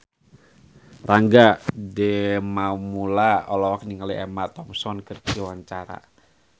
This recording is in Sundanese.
Rangga Dewamoela olohok ningali Emma Thompson keur diwawancara